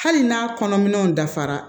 Hali n'a kɔnɔ minɛnw dafara